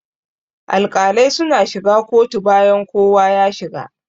Alƙalai suna shiga kotu bayan kowa ya shiga.